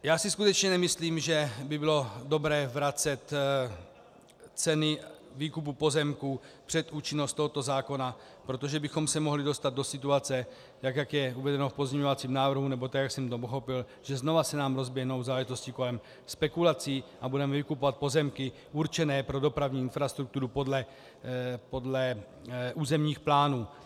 Já si skutečně nemyslím, že by bylo dobré vracet ceny výkupu pozemků před účinnost tohoto zákona, protože bychom se mohli dostat do situace tak, jak je uvedeno v pozměňovacím návrhu, nebo tak, jak jsem to pochopil, že znovu se nám rozběhnou záležitosti kolem spekulací a budeme vykupovat pozemky určené pro dopravní infrastrukturu podle územních plánů.